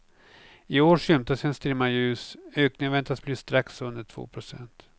I år skymtas en strimma ljus, ökningen väntas bli strax under två procent.